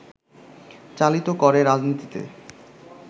চালিত করে রাজনীতিতে